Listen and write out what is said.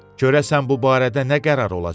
Görəsən bu barədə nə qərar olacaq?